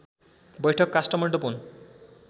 बैठक काष्ठमण्डप हुन्